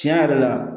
Tiɲɛ yɛrɛ la